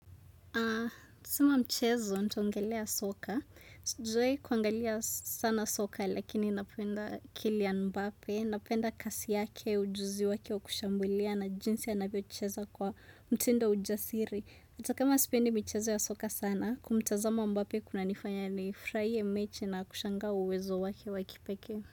Sama mchezo, ntaongelea soka. Sijawai kuangalia sana soka, lakini napenda kilian mbape. Napenda kasi yake, ujuzi wake wa kushambulia na jinsi ya anavyocheza kwa mtindo wa ujasiri. Hata kama sipendi mchezo ya soka sana, kumtazama mbape kunanifanya nifurahie mechi na kushanga uwezo wake wa kipeke.